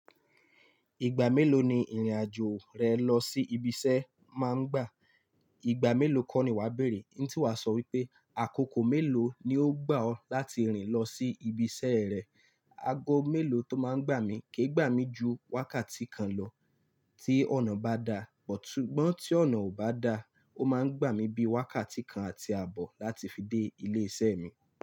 Ìgbà mélòó ni ìrìnàjò rẹ lọ sí ibi iṣẹ́ máa ń gbà? Ìgbà mélòó kọ́ ni wà bẹ̀rẹ̀? N tí wà sọ wípé àkókò mélòó ni ó gbà ọ́ láti rìn lọ sí ibi iṣẹ́ rẹ. Ago mélòó tó máa ń gbà mí ke gbà mí ju wákàtí kan lọ tí ọ̀nà bá da, but súgbọ́n tí ọ̀nà ò bá da, ó máa ń gbà mí bí i wákàtí kan àti àbọ̀ láti fi dé ilé iṣẹ́ mi.